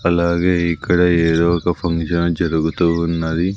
అలాగే ఇక్కడ ఏదో ఒక ఫంక్షన్ జరుగుతూ ఉన్నది.